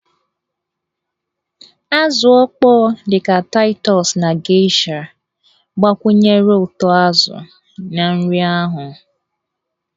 Azụ mkpọ dị ka Taịtọs na geisha gbakwunyere ụtọ azụ na nri ahụ.